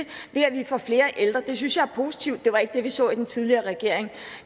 vi får flere ældre det synes jeg er positivt det var ikke det vi så under den tidligere regering